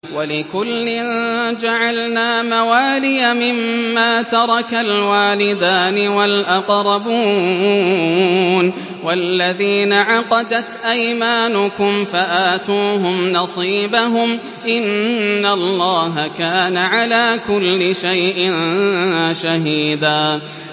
وَلِكُلٍّ جَعَلْنَا مَوَالِيَ مِمَّا تَرَكَ الْوَالِدَانِ وَالْأَقْرَبُونَ ۚ وَالَّذِينَ عَقَدَتْ أَيْمَانُكُمْ فَآتُوهُمْ نَصِيبَهُمْ ۚ إِنَّ اللَّهَ كَانَ عَلَىٰ كُلِّ شَيْءٍ شَهِيدًا